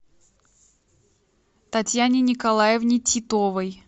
татьяне николаевне титовой